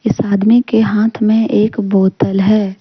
इस आदमी के हाथ में एक बोतल है।